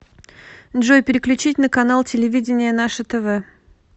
джой переключить на канал телевидения наше тв